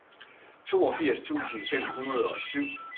toogfirs tusind fem hundrede og syv